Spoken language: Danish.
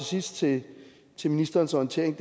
sidst til til ministerens orientering